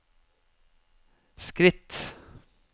skritt